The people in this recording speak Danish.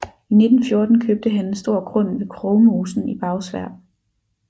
I 1914 købte han en stor grund ved Krogmosen i Bagsværd